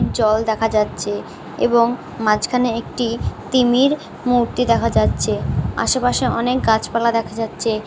জল দেখা যাচ্ছে এবং মাঝখানে একটি তিমির মূর্তি দেখা যাচ্ছে। আশেপাশে অনেক গাছপালা দেখা যাচ্ছে।